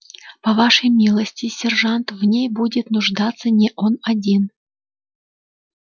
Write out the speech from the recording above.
по вашей милости сержант в ней будет нуждаться не он один